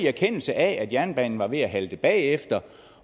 erkendelse af at jernbanen var ved at halte bagefter